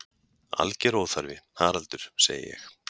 Alger óþarfi, Haraldur sagði ég.